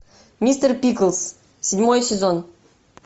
мистер пиклз седьмой сезон